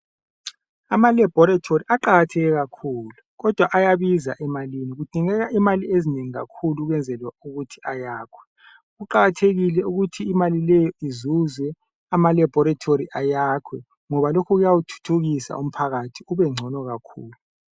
Ama laboratory aqakatheke kakhulu kodwa ayabiza emalini. Kudingeka imali ezinengi kakhulu ukwenzela ukuthi ayakhwe. Kuqakathekile ukuthi imali leyo izuzwe, ama laboratory ayakhwe ngoba lokho kuyawuthuthukisa umphakathi, ube ngcono kakhulu.